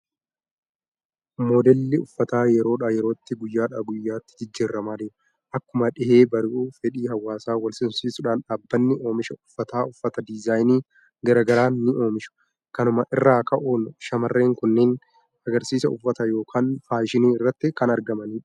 Moodelli uffataa yerodhaa yerootti, guyyadhaa guyyaatti jijjiiramaa deema. Akkuma dhihee bari'uu fedhii hawaasaa wal simsiisuudhaan dhaabbanni oomisha uffataa uffata diizaayinii gara garaan ni oomishu. Kanuma irraa ka'uun shamarreen kunneen agarsiisa uffataa yookaan faashinii irratti kan argamanidha.